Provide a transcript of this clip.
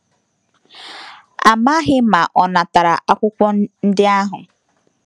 A maghị ma ọ natara akwụkwọ ndị ahụ.